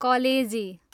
कलेजी